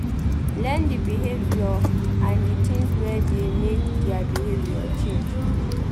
Learn di behaviour and di things wey dey make their behavior change